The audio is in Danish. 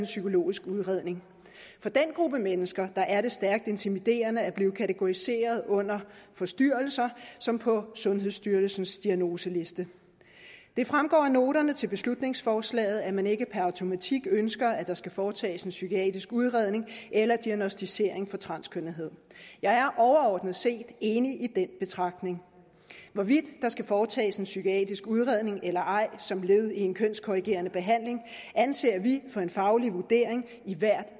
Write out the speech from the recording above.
psykologisk udredning for den gruppe mennesker er det stærkt intimiderende at blive kategoriseret under forstyrrelser som på sundhedsstyrelsens diagnoseliste det fremgår af noterne til beslutningsforslaget at man ikke per automatik ønsker at der skal foretages en psykiatrisk udredning eller diagnosticering for transkønnethed jeg er overordnet set enig i den betragtning hvorvidt der skal foretages en psykiatrisk udredning eller ej som led i en kønskorrigerende behandling anser vi for en faglig vurdering i hvert